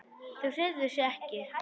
Þau hreyfðu sig ekki.